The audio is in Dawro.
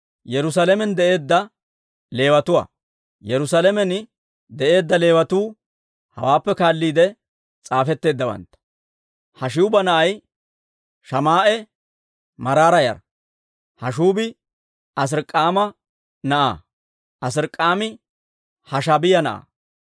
Yerusaalamen de'eedda Leewatuu hawaappe kaalliide s'aafetteeddawantta. Haashshuuba na'ay Shamaa'e Maraara yara. Hashshuubi Azirik'aama na'aa; Azirik'aami Hashaabiyaa na'aa.